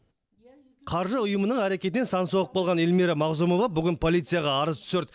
қаржы ұйымының әрекетінен сан соғып қалған ильмира магзумова бүгін полицияға арыз түсірді